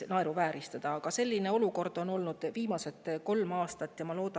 Aga selline olukord on viimased kolm aastat olnud.